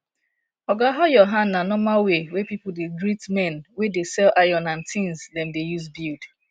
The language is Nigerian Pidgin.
oga how your hand na normal way wey people dey greet men wey dey sell iron and tins dem dey use build